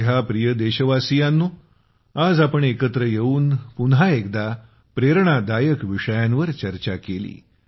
माझ्या प्रिय देशवासियांनो आज आपण एकत्र येऊन पुन्हा एकदा प्रेरणादायक विषयांवर चर्चा केली